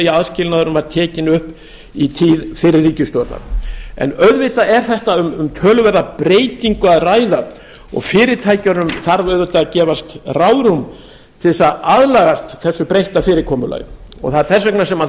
aðskilnaðurinn var tekinn upp í tíð fyrri ríkisstjórnar auðvitað er um töluverða breytingu að ræða og fyrirtækjunum þarf auðvitað að gefast ráðrúm til þess að aðlagast þessu breytta fyrirkomulagi það er þess vegna sem það